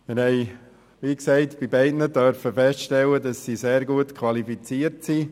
Wie gesagt, bei beiden durften wir feststellen, dass sie sehr gut qualifiziert sind.